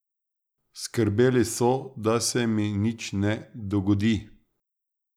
Skrbeli so, da se mi nič ne dogodi.